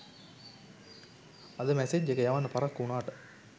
අද මැසේජ් එක යවන්න පරක්කු වුනාට